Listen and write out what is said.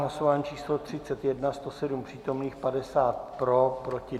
Hlasování číslo 31, 107 přítomných, 50 pro, 2 proti.